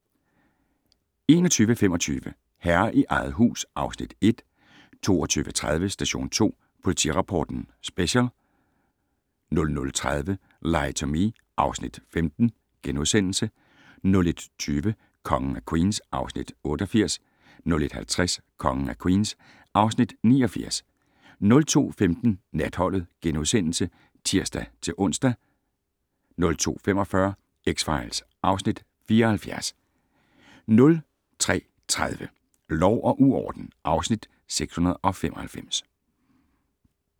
21:25: Herre i eget hus (Afs. 1) 22:30: Station 2 Politirapporten Special 00:30: Lie to Me (Afs. 15)* 01:20: Kongen af Queens (Afs. 88) 01:50: Kongen af Queens (Afs. 89) 02:15: Natholdet *(tir-ons) 02:45: X-Files (Afs. 74) 03:30: Lov og uorden (Afs. 695)